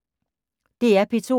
DR P2